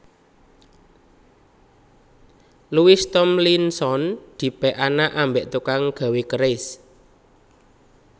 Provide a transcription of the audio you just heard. Louis Thomlinson dipek anak ambek tukang gawe keris